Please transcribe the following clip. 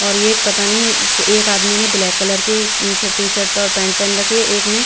और ये एक पता नहीं एक आदमी ने ब्लैक कलर की नीचे टीशर्ट और पेंट पेहन रखी है एक ने--